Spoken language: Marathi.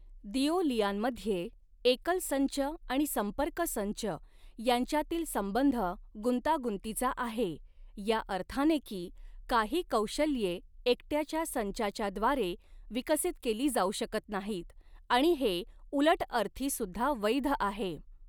दिऊ लियानमध्ये, एकल संच आणि संपर्क संच यांच्यातील संबंध गुंतागुंतीचा आहे, या अर्थाने की काही कौशल्ये एकट्याच्या संचांच्या द्वारे विकसित केली जाऊ शकत नाहीत आणि हे उलटअर्थी सुद्धा वैध आहे.